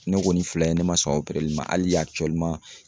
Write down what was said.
Ne kɔni filɛ ne ma sɔn opereli ma hali a